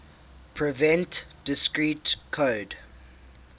prevent discrete code